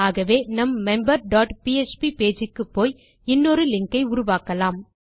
ஆகவே நம் member dot PHP page க்குப்போய் இன்னொரு லிங்க் ஐ உருவாக்குவேன்